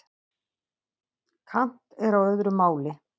Kant er á öðru máli.